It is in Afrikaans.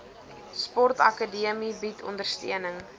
sportakademie bied ondersteuning